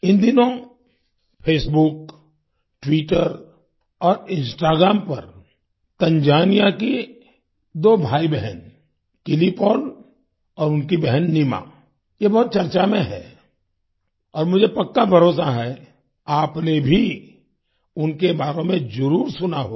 इन दिनों Facebook Twitter और Instagram पर तंजानिया की दो भाईबहन किलि पॉल और उनकी बहन नीमा ये बहुत चर्चा में हैं और मुझे पक्का भरोसा है आपने भी उनके बारे में जरुर सुना होगा